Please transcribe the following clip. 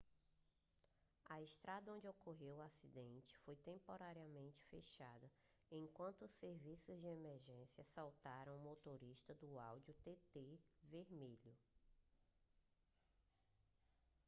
a estrada onde ocorreu o acidente foi temporariamente fechada enquanto os serviços de emergência soltaram o motorista do audi tt vermelho